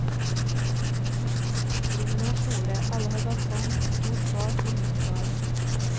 Rommene er store, alle har balkong, stort bad og minibar.